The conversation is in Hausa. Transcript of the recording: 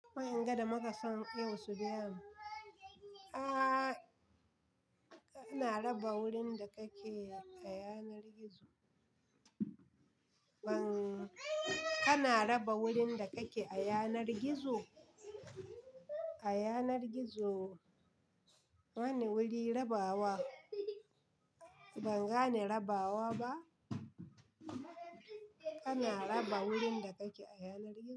Ma'in gada muka son yau su biyani. Aaa, kana raba wurin da kake a yanar gizo? Ban, kana raba wurin da kake a yanar gizo? A yanar gizo? Bani wuri rabawa? Ban gane rabawa ba. Kana raba wurin da kake a yanar gizo.